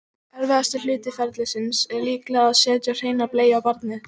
Erfiðasti hluti ferlisins er líklega að setja hreina bleiu á barnið.